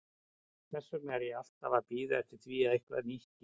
Þess vegna er ég alltaf að bíða eftir því að eitthvað nýtt gerist.